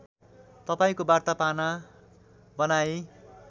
तपाईँको वार्ता पाना बनाएँ